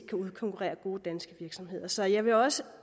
kan udkonkurrere gode danske virksomheder så jeg vil også